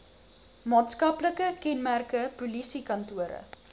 maatskaplike kenmerke polisiekantore